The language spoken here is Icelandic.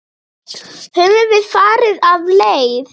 Höfum við farið af leið?